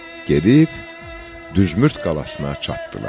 Gedib Düsmürd qalasına çatdılar.